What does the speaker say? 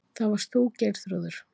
Það varst þú, Geirþrúður.